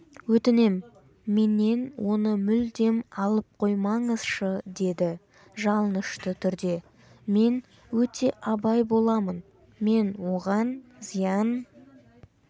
өтінем менен оны мүлдем алып қоймаңызшы деді жалынышты түрде мен өте абай боламын мен оған зиян